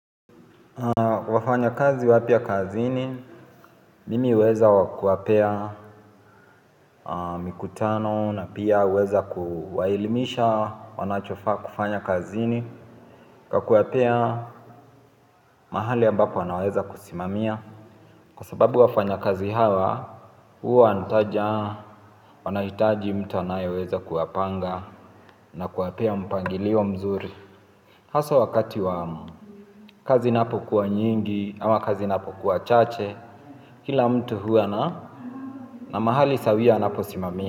Wafanyikazi wapya kazini, mimi huweza kuwapea mikutano na pia huweza kuwailimisha, wanachofa kufanya kazini, kuwapea mahali ambapo anaweza kusimamia. Kwa sababu wafanyikazi hawa, huwa wanaitaji mtu anayeweza kuwapanga na kuwapea mpangilio mzuri. Haswa wakati wa kazi inapokuwa nyingi ama kazi inapokuwa chache, kila mtu huwa na mahali sawia, anaposimamia.